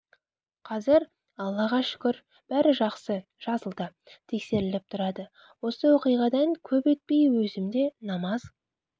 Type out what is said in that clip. қазір аллаға шүкір бәрі жақсы жазылды тексеріліп тұрады осы оқиғадан көп өтпей өзім де намаз